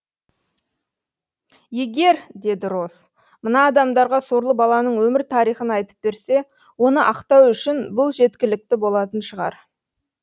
егер деді роз мына адамдарға сорлы баланың өмір тарихын айтып берсе оны ақтау үшін бұл жеткілікті болатын шығар